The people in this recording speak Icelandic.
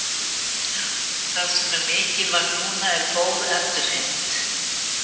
Það sem er mikilvægt núna er góð endurheimt.